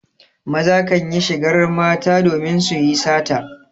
Maza kan yi shigar mata domin su yi sata.